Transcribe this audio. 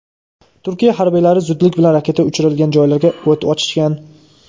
Turkiya harbiylari zudlik bilan raketa uchirilgan joylarga o‘t ochishgan.